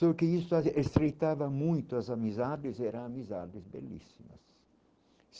Só que isso estreitava muito as amizades e eram amizades belíssimas.